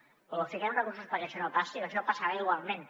però o fiquem recursos perquè això no passi o això passarà igualment